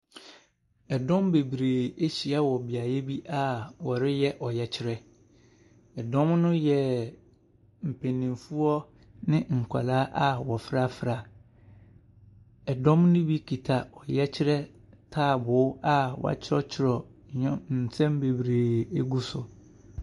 Dɔm bebree ahyia wɔ beaeɛ bi a wɔreyɛ ɔyɛkyerɛ. Dɔm no yɛ mpanimfoɔ ne nkwadaa a wɔafrafra. Dɔm no bi kuta ɔyɛkyerɛ ntaaboo a wɔatwerɛtwerɛ nneɛ nsɛm bebree gu so.